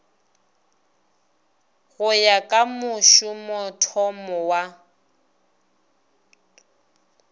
go ya ka mošomothomo wa